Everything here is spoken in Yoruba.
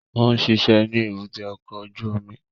Ó ń ṣiṣẹ́ ní èbúté ọkọ̀ ojú omi